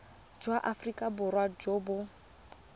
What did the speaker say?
jwa aforika borwa jo bo